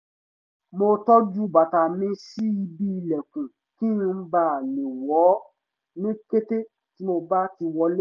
mo tọ́jú bàtà mi sí ibi ìlẹ̀kùn kí n bà le wọ̀ ọ́ ní kété tí mo bá ti wọlé